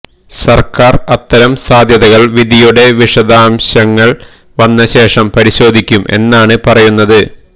സർക്കാർ അത്തരം സാധ്യതകൾ വിധിയുടെ വിഷാദംശങ്ങൾ വന്നശേഷം പരിശോധിക്കും എന്നാണു പറയുന്നത്